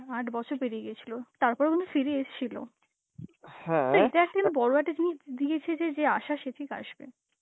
আট বছর পেরিয়ে গেছিল তারপরে মনে হয় ফিরে এসেছিল. তা এটা একটা জিন~ বড় একটা জিনিস দি~ দিয়েছে যে যে আসার সে ঠিক আসবে.